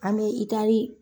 An bɛ itari